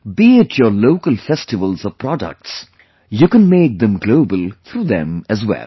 Be it your local festivals or products, you can make them global through them as well